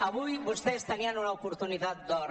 avui vostès tenien una oportunitat d’or